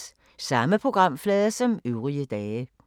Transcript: Samme programflade som øvrige dage